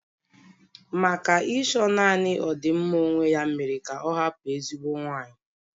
Maka Ịchọ naanị ọdịmma onwe ya mere ka ọ hapụ ezigbo nwanyị.